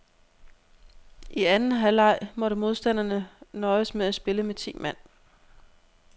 I anden halvleg måtte modstanderne nøjes med at spille med ti mand.